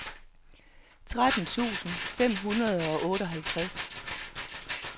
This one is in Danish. tretten tusind fem hundrede og otteoghalvtreds